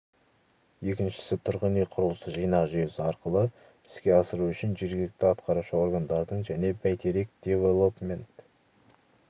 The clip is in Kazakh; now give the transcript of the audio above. екіншісі тұрғын үй құрылыс жинақ жүйесі арқылы іске асыру үшін жергілікті атқарушы органдардың және бәйтерек девелопмент